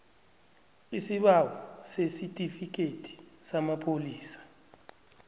isibawo sesitifikhethi samapholisa